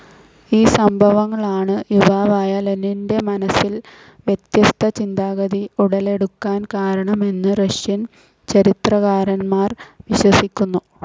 ഈ സംഭവങ്ങൾ ആണ് യുവാവായ ലെനിൻ്റെ മനസ്സിൽ വ്യത്യസ്ഥ ചിന്താഗതി ഉടലെടുക്കാൻ കാരണം എന്ന് റഷ്യൻ ചരിത്രകാരൻമാർ വിശ്വസിക്കുന്നു.